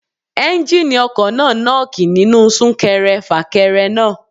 Ẹ́njíníì ọkọ̀ náà nọ́ọ́kì nínú sún kẹrẹ fà kẹrẹ náà.